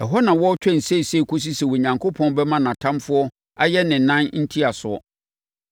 Ɛhɔ na ɔretwɛn seesei kɔsi sɛ Onyankopɔn bɛma nʼatamfoɔ ayɛ ne nan ntiasoɔ.